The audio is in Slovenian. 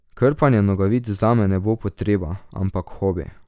Krpanje nogavic zame ne bo potreba, ampak hobi.